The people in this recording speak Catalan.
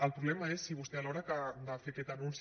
el problema és si vostès a l’hora de fer aquest anunci